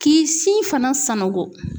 K'i sin fana sanango.